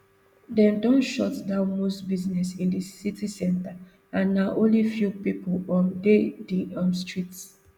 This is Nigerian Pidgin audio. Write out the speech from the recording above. dem don shut down most business in di city centre and na only few pipo um dey di um streets